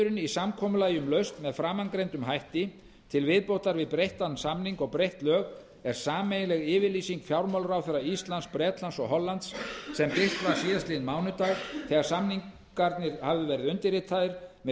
í samkomulagi um lausn með framangreindum hætti til viðbótar við breyttan samning og breytt lög er sameiginleg yfirlýsing fjármálaráðherra íslands bretlands og hollands sem birta var síðastliðinn mánudag þegar samningurinn hafði verið undirritaður með fyrirvara